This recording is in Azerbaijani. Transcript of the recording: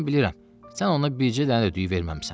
Mən bilirəm, sən ona bircə dənə də düyü verməmisən.